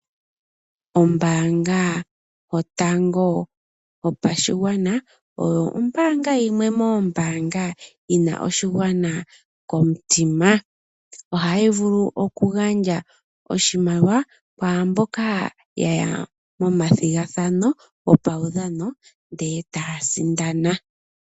Ombanga yotango yopashigwana oyo ombanga yimwe moombanga yina oshigwana komutima. Ohayi vulu oku gandja oshimaliwa kwaamboka yaya momathigathano gopawudhano ndee tasindana.